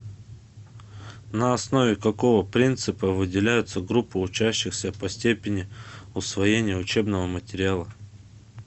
на основе какого принципа выделяются группы учащихся по степени усвоения учебного материала